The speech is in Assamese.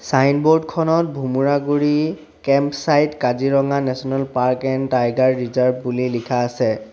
ছাইনবোৰ্ড খনত Bhumuraguri camp side Kaziranga national park and tiger reserve বুলি লিখা আছে।